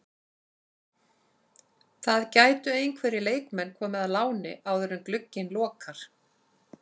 Það gætu einhverjir leikmenn komið á láni áður en glugginn lokar.